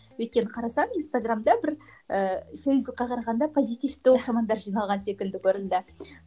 өйткені қарасам инстаграмда бір ііі фейсбукке қарағанда позитивті оқырмандар жиналған секілді көрінді